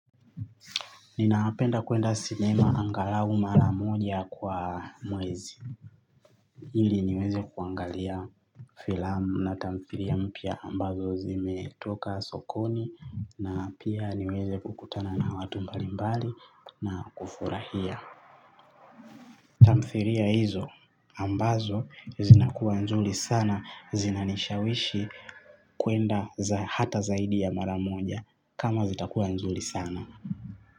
Ninapenda kuenda sinema angalau mara moja kwa mwezi ili niweze kuangalia filamu na tamthiria mpya ambazo zimetoka sokoni na pia niweze kukutana na watu mbali mbali na kufurahia tamthiria hizo ambazo zinakuwa nzuri sana zinanishawishi kuenda hata zaidi ya mara moja kama zitakuwa nzuri sana.